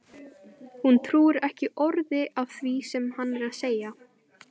Hún trúir ekki orði af því sem hann er að segja!